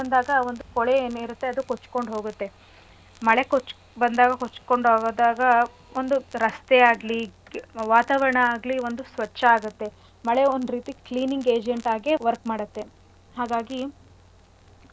ಒಂದ್ ಕೊಳೆ ಏನಿರತ್ತೆ ಅದು ಕೊಚ್ಕೊಂಡ್ ಹೋಗತ್ತೆ ಮಳೆ ಕೊಚ್ ಬಂದಾಗ ಕೊಚ್ಕೊಂಡ್ ಹೋದಾಗ ಒಂದು ರಸ್ತೆ ಆಗ್ಲಿ ವಾತಾವರಣ ಆಗ್ಲಿ ಒಂದು ಸ್ವಚ್ಛ ಆಗತ್ತೆ ಮಳೆ ಒಂದ್ ರೀತಿ cleaning agent ಆಗಿ work ಮಾಡತ್ತೆ ಹಾಗಾಗಿ ಮಳೆ ಬಂದಾಗ.